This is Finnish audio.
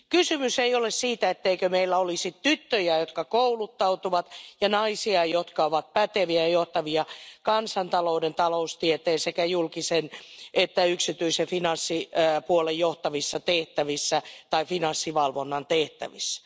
Kysymys ei ole siitä, etteikö meillä olisi tyttöjä, jotka kouluttautuvat, ja naisia, jotka ovat päteviä ja johtavia kansantalouden, taloustieteen ja sekä julkisen että yksityisen finanssipuolen johtavissa tehtävissä tai finanssivalvonnan tehtävissä.